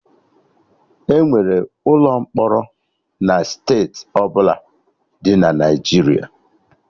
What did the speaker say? Enwere ụlọ mkpọrọ na steeti ọbụla dị na Naijiria